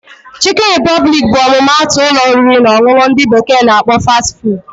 Chikin repụblik bụ ọmụma atụ ụlọ oriri na ọṅụṅụ ndị bekee na akpọ 'Fast food'